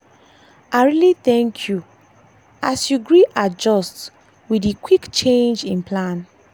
i really thank k you as you gree adjust with dey quick change in plan.